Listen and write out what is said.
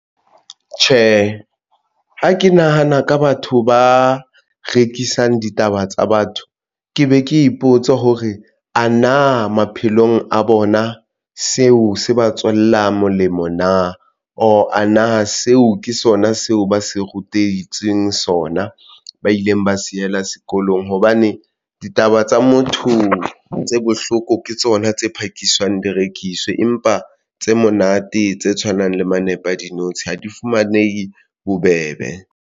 Tjhe, ha ke nahana ka batho ba rekisang ditaba tsa batho, ke be ke ipotsa hore ana maphelong a bona seo se ba tswelang molemo na ore na seo ke sona seo ba se rutetsweng sona, ba ileng ba sela sekolong hobane ditaba tsa motho tse bohloko ke tsona tse phakisang direkiswe, empa tse monate tse tshwanang le manepa a dinotshi ha di fumanehe bobebe.